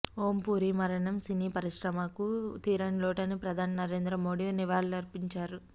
ఓం పురి మరణం సినీ పరిశ్రమకు తీరని లోటని ప్రధాని నరేంద్ర మోడి నివాళులర్పించారు